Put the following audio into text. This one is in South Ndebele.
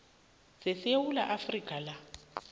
sesewula afrika na